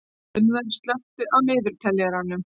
Gunnvör, slökktu á niðurteljaranum.